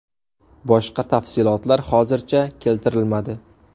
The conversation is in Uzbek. Boshqa tafsilotlar hozircha keltirilmadi.